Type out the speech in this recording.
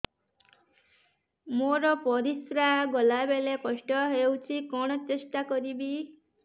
ମୋର ପରିସ୍ରା ଗଲାବେଳେ କଷ୍ଟ ହଉଚି କଣ ଟେଷ୍ଟ କରିବି